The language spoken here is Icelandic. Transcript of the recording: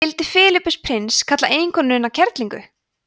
skildi filippus prins kalla eiginkonuna kerlingu